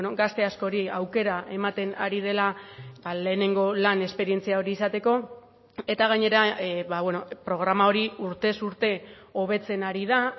gazte askori aukera ematen ari dela lehenengo lan esperientzia hori izateko eta gainera programa hori urtez urte hobetzen ari da